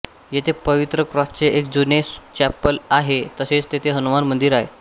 येथे पवित्र क्रॉसचे एक खूप जुने चॅपल आहे तसेच तेथे हनुमान मंदिर आहे